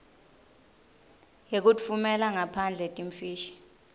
yekutfumela ngaphandle timfishi